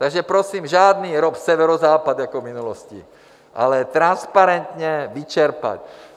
Takže prosím žádný ROP Severozápad jako v minulosti, ale transparentně vyčerpat.